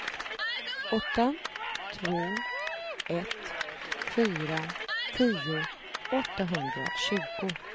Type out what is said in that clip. åtta två ett fyra tio åttahundratjugo